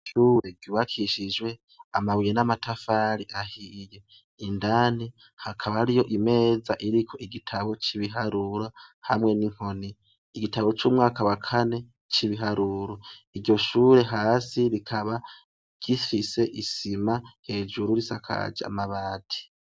Ishure ryubakishijwe amabuye n'amatafari ahiye, indani hakaba hariyo imeza iriko igitabo c'ibiharuro hamwe n'inkoni, igitabo c'umwaka wa kane c'ibiharuro, iryo shure hasi rikaba ifise isima hejuru isakaje amabati.